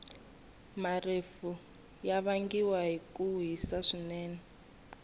marefu yavangiwa hhikuhhisa swinene